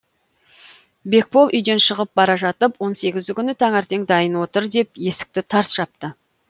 бекбол үйден шығып бара жатып он сегізі күні таңертең дайын отыр деп есікті тарс жапты